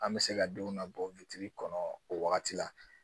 An bɛ se ka denw nabɔ kɔnɔ o wagati la